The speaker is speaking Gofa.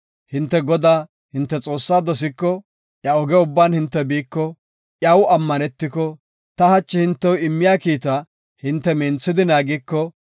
Hinte Godaa, hinte Xoossaa dosiko, iya oge ubban hinte biiko, iyaw ammanetiko, ta hachi hintew immiya kiita hinte minthidi naagiko,